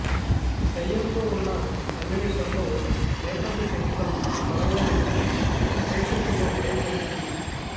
దయ్యంతో ఉన్న సన్నివేశాల్లో నేపథ్య సంగీతం బలంగా నిలిచి ప్రేక్షకుల్లో భయం కలిగించింది